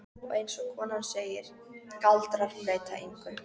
Og eins og konan segir, galdrar breyta engu.